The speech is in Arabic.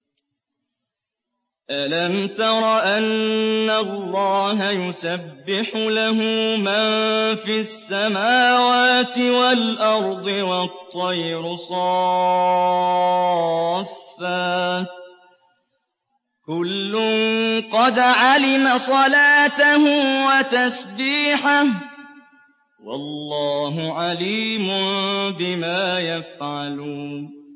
أَلَمْ تَرَ أَنَّ اللَّهَ يُسَبِّحُ لَهُ مَن فِي السَّمَاوَاتِ وَالْأَرْضِ وَالطَّيْرُ صَافَّاتٍ ۖ كُلٌّ قَدْ عَلِمَ صَلَاتَهُ وَتَسْبِيحَهُ ۗ وَاللَّهُ عَلِيمٌ بِمَا يَفْعَلُونَ